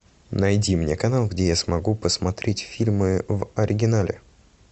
найди мне канал где я смогу посмотреть фильмы в оригинале